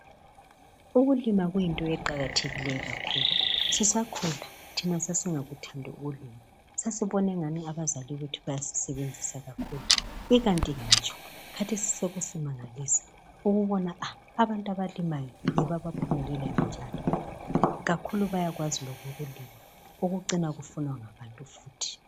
Ukulima kuyinto eqakathekileyo kakhulu sisakhula thina sasingakuthandi ukulima sasibona engani abazali bethu bayasisebenzisa kakhulu. Ikanti ngitsho kathesi sokusimangalisa ukubona aah abantu abalimayo yibo abaphumelelayo njalo kakhulu bayakwazi lokulima ukucina kufunwa ngabantu futhi.